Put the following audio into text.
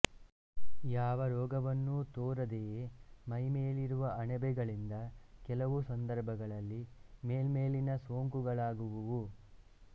ಯಾವ ರೋಗವನ್ನೂ ತೋರದೆಯೇ ಮೈಮೇಲಿರುವ ಅಣಬೆಗಳಿಂದ ಕೆಲವು ಸಂದರ್ಭಗಳಲ್ಲಿ ಮೇಲ್ಮೇಲಿನ ಸೊಂಕುಗಳಾಗುವುವು